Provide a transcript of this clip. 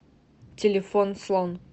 телефон слон